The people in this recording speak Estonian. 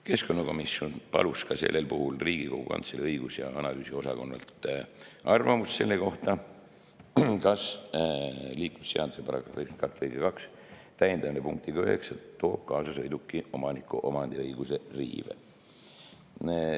Keskkonnakomisjon palus ka Riigikogu Kantselei õigus‑ ja analüüsiosakonnalt arvamust selle kohta, kas liiklusseaduse § 92 lõike 2 täiendamine punktiga 9 toob kaasa sõiduki omaniku omandiõiguse riive.